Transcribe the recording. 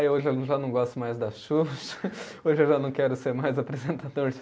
Aí hoje eu já não gosto mais da Xuxa, hoje eu já não quero ser mais apresentador de